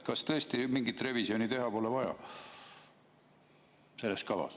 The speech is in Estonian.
Kas tõesti mingit revisjoni selles kavas pole vaja teha?